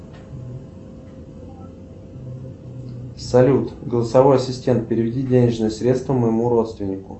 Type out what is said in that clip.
салют голосовой ассистент переведи денежные средства моему родственнику